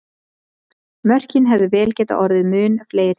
Mörkin hefðu vel getað orðið mun fleiri!